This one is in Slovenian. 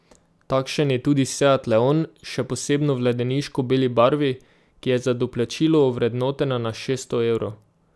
Takšen je tudi seat leon, še posebno v ledeniško beli barvi, ki je za doplačilo ovrednotena na šeststo evrov.